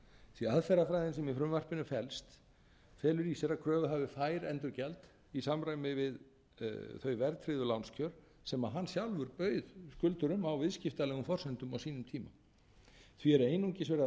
því aðferðafræðin sem í frumvarpinu felst felur í sér að kröfuhafi fær endurgjald í samræmi við þau verðtryggðu lánskjör sem hann sjálfur bauð skuldurum á viðskiptalegum forsendum á sínum tíma því er einungis verið að